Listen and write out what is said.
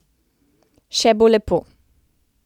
Še bo lepo.